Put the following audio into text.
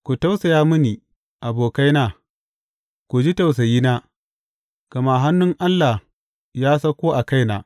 Ku tausaya mini, abokaina, ku ji tausayina, gama hannun Allah ya sauko a kaina.